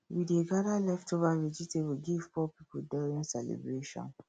we dey gather leftover vegetable give poor people during celebration